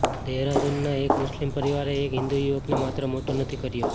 દેહરાદૂનના એક મુસ્લિમ પરિવારે એક હિન્દૂ યુવકને માત્ર મોટો નથી કર્યો